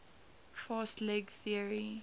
fast leg theory